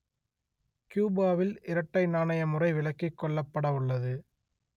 கியூபாவில் இரட்டை நாணய முறை விலக்கிக் கொள்ளப்படவுள்ளது